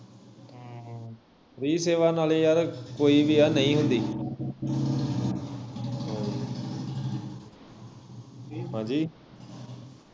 free ਸੇਵਾ ਨਾਲੇ ਯਾਰ ਕੋਈ ਵੀ ਆ ਨਹੀਂ ਹੁੰਦੀ ਹਾਂਜੀ